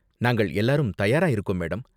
நாங்கள் எல்லாரும் தயாரா இருக்கோம், மேடம்.